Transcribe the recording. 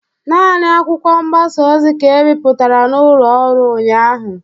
Nani akwụkwọ mgbasa ozi ka e bipụtara n'ụlọ ọrụ ụnyaahụ